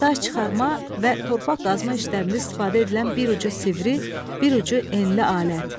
Daş çıxarma və torpaq qazma işlərində istifadə edilən bir ucu sivri, bir ucu enli alət.